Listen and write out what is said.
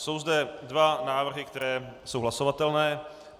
Jsou zde dva návrhy, které jsou hlasovatelné.